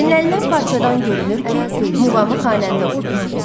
Dinlənilən parçadan görünür ki, muğamı xanəndə oxuyur.